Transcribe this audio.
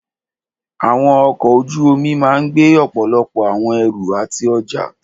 Àwọn ọkọ̀ ojú omi máà gbé ọ̀pọ̀lọpọ̀ àwọn ẹrù àti ọjá.